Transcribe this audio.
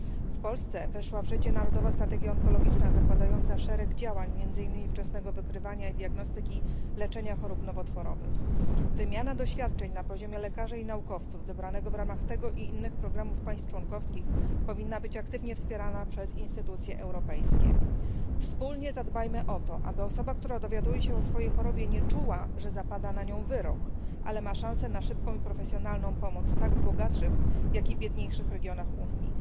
W Polsce weszła w życie narodowa strategia onkologiczna zakładająca szereg działań, między innymi wczesnego wykrywania i diagnostyki, leczenia chorób nowotworowych. Wymiana doświadczeń na poziomie lekarzy i naukowców zebranego w ramach tego i innych programów państw członkowskich powinna być aktywnie wspierana przez instytucje europejskie. Wspólnie zadbajmy o to, aby osoba, która dowiaduje się o swojej chorobie, nie czuła, że zapada na nią wyrok, ale ma szansę na szybką i profesjonalną pomoc tak w bogatszych, jak i biedniejszych regionach Unii.